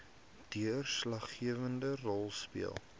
deurslaggewende rol speel